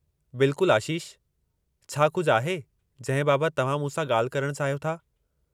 बिल्कुलु आशीष, छा कुझु आहे जंहिं बाबति तव्हां मूं सां ॻाल्हि करणु चाहियो था?